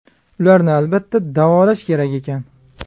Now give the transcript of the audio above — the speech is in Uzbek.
Ularni, albatta, davolash kerak ekan.